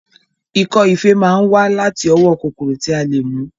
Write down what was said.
Ikọ́ ife máa wá láti ọwọ́ kòkòrò tí a lè mú